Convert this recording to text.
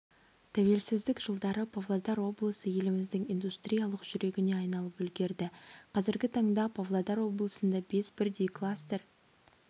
тәуелсіздік жылдары павлодар облысы еліміздің индустриялық жүрегіне айналып үлгерді қазіргі таңда павлодар облысында бес бірдей кластер